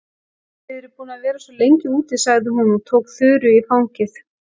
Þið eruð búin að vera svo lengi úti, sagði hún og tók Þuru í fangið.